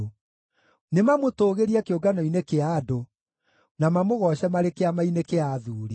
Nĩmamũtũũgĩrie kĩũngano-inĩ kĩa andũ, na mamũgooce marĩ kĩama-inĩ kĩa athuuri.